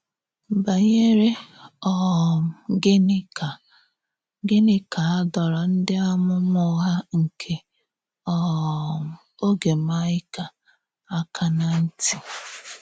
Banyèrè um gịnị ka gịnị ka a dòrò ǹdí àmúmà ụ́ghà nke um ógè Maịka ákà ná ntì?